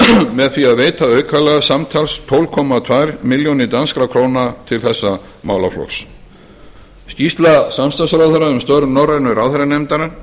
með því að veita aukalega samtals tólf komma tvær milljónir danskra króna til þessara málaflokka skýrsla samstarfsráðherra um störf norrænu ráðherranefndarinnar